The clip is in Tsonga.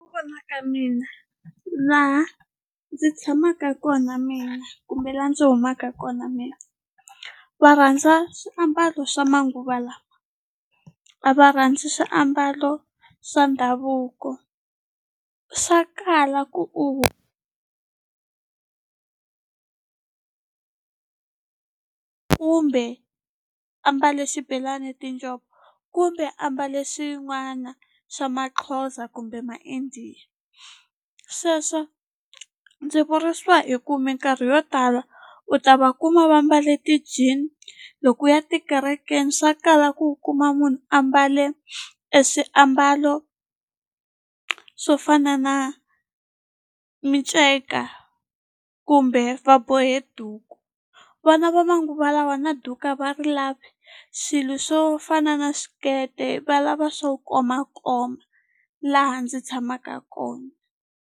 vona ka mina laha ndzi tshamaka kona mina kumbe la ndzi humaka kona mina va rhandza swiambalo swa manguva lawa a va rhandzi swiambalo swa ndhavuko swa kala ku u kumbe ambale xibelani ni tinjhovo kumbe a mbale swin'wana swa Maxhosa kumbe ma-India sweswo ndzi vurisiwa hi ku minkarhi yo tala u ta va kuma va mbale ti-jean loko u ya tikerekeni swa kala ku u kuma munhu a mbale eswiambalo swo fana na minceka kumbe va bohe duku vana va manguva lawa na duku a va ri lavi swilo swo fana na swikete valava swo komakoma laha ndzi tshamaka kona.